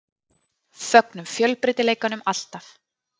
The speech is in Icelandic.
Fögnum fjölbreytileikanum alltaf.